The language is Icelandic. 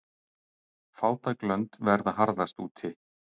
Fátæk lönd verða harðast úti.